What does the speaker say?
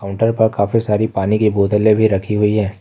Counter पर काफी सारी पानी की बोतलें भी रखी गई हैं।